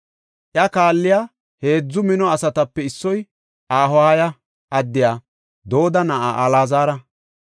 Iya kaalley, heedzu mino asatape issoy Ahoha addiya Dooda na7a Alaazara.